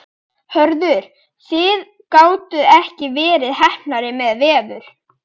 Hörður, þið gátuð ekki verið heppnari með veður?